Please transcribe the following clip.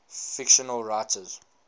fictional writers